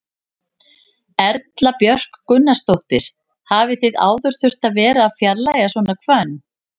Erla Björg Gunnarsdóttir: Hafið þið áður þurft að vera að fjarlægja svona hvönn?